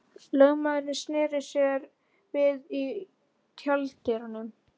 Lögmaðurinn sneri sér við í tjalddyrunum.